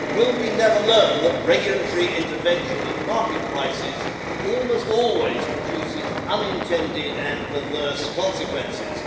Will we never learn that regulatory intervention in market prices almost always produces unintended and perverse consequences?